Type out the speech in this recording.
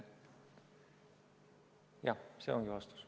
Jah, see ongi vastus.